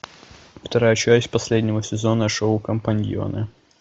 вторая часть последнего сезона шоу компаньоны